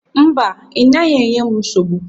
Mba, ị naghị enye m nsogbu